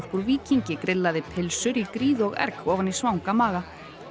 úr Víkingi grillaði pylsur í gríð og erg ofan í svanga maga